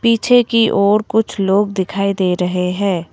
पीछे की और कुछ लोग दिखाई दे रहे हैं।